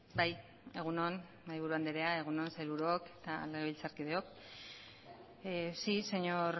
bai egun on mahaiburu anderea egun on sailburuok eta legebiltzarkideok sí señor